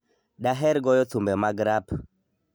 Daher goyo thumbe mag rap.